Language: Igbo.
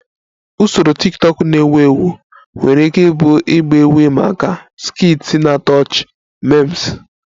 Usoro tiktokụ na-ewu ewu nwere ike ịbụ ịgba egwu ịma aka, skits na-atọ ọchị, memes